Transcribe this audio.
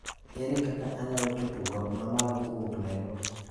Ere kaka anyalo chopo got mamalo kowuok Nairobi